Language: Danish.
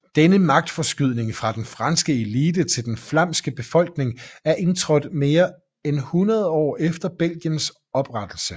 Denne magtforskydning fra den franske elite til den flamske befolkning er indtrådt mere end 100 år efter Belgiens oprettelse